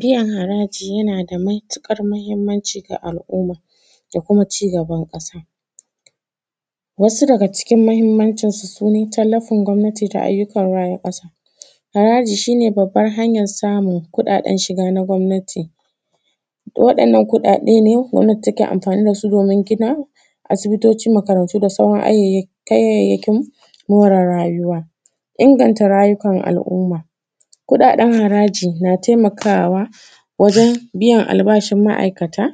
Biyan haraji yana da matuƙar mahinmanci ga al’umma da kuma ci gaban ƙasa, wasu daga cikin mahinmacinsu su ne tallafin gwamnatoci da ake raya ƙasa. Haraji shi ne babban hanyan shiga na gwamnati waɗannan kuɗaɗe ne da ake amfani da su domin gina aisbitoci, makarantu da sauran kayyayakin more rayuwa, inganta rayukan al’umma. Kuɗaɗen haraji na taimakawa wajen biyan albashin ma’aikata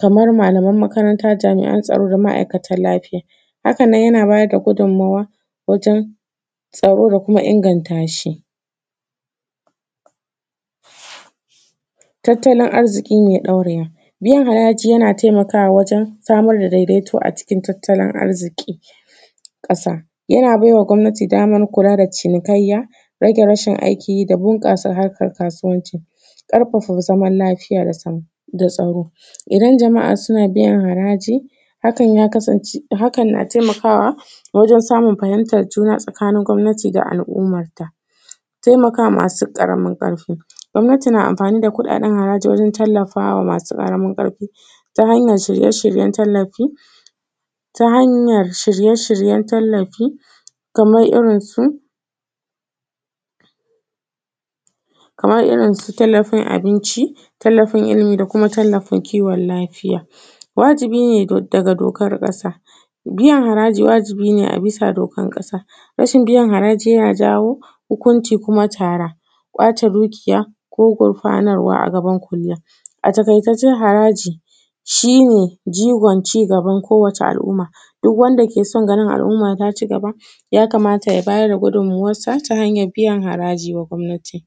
kaman malaman makaranta, jami’an tsaro, da ma’aikatan lafiya, hakan nan yana bayar da gudunmuwa wajen tsaro da kuma inganta shi, tattalin arzikin ya ɗauriya biyan haraji, yana taimakawa wajen samar da daidaito a cikin tattalin arziki ƙasa, yana bai wa gwamnati wajen samar da cinikayya rage, rashin aikin yi da bunƙasa harkan kasuwanci, ƙarfafa zaman lafiya da tsaro. Idan jama’a na biyan haraji hakan ya kasance yakan na taimakawa wajen samun fahimtan juna tsakanin gwamnati da al’umma. Taimakama masu ƙaramin ƙarfi, gwamnati na amfani da kuɗaɗen haraji wajen taimakama masu ƙaramin ƙarfi ta hanyan shirye-shiryen tallafi, ta hanyan shirye-shieyen tallafi kamar irin su kamar irin su tallafin abinci, tallafin ilimi, da kuma tallafin kiwon lafiya. Wajibi ne daga dokar ƙasa biyan haraji, wajibi ne a bisa dokan ƙasa rashin biyan haraji yana jawo hukunci da kuma tara, kwace dukiya ko gurfanartarwa a gaban kuliya. A taƙaice dai haraji shi ne jigon cigaban ko wata al’umma duk wanda ke san ganin al’umma ta cigaba ya kamata ta bayar da cigabanta ta hanyan biyan haraji ga gwamnati.